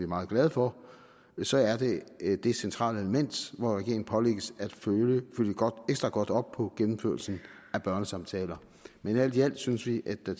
meget glade for så er det det centrale element hvor regeringen pålægges at følge ekstra godt op på gennemførelsen af børnesamtaler men alt i alt synes vi at der